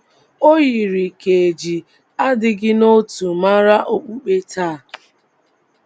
O YIRI ka e ji adịghị n’otu mara okpukpe taa.